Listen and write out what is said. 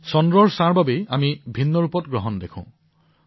চন্দ্ৰৰ ছায়াৰ ফলতেই আমি গ্ৰহণৰ ভিন্নভিন্ন ৰূপ দেখিবলৈ পাও